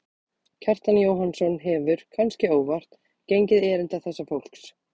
Kjartan Jóhannsson hefur, kannske óvart, gengið erinda þessa fólks.